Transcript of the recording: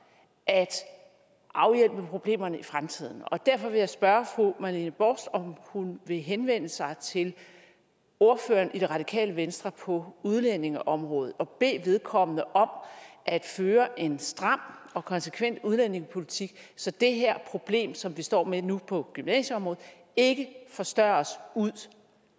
at afhjælpe problemerne i fremtiden og derfor vil jeg spørge fru marlene borst hansen om hun vil henvende sig til ordføreren for det radikale venstre på udlændingeområdet og bede vedkommende om at føre en stram og konsekvent udlændingepolitik så det her problem som vi står med nu på gymnasieområdet ikke forstørres ud